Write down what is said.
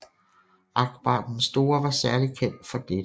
Akbar den Store var særlig kendt for dette